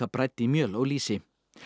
brædd í mjöl og lýsi